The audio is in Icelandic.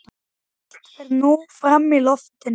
Allt fer nú fram í loftinu.